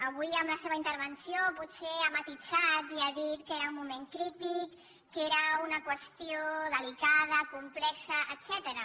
avui en la seva intervenció potser ha matisat i ha dit que era un moment crític que era una qüestió delicada complexa etcètera